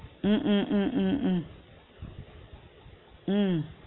உம் உம் உம் உம் உம் உம்